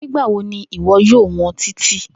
Nigbawo ni iwọ yoo wọn Titi?